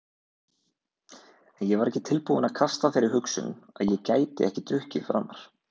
En ég var ekki tilbúinn að kasta þeirri hugsun að ég gæti ekki drukkið framar.